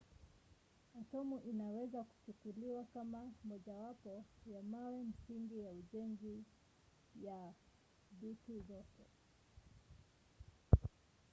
atomu inaweza kuchukuliwa kama mojawapo ya mawe msingi ya ujenzi ya dutu zote